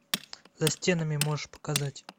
за стенами можешь показать